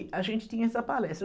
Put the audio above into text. A gente tinha essa palestra.